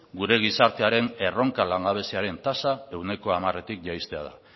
gure gizartearen erronka langabeziaren tasa ehuneko hamaretik jaistea da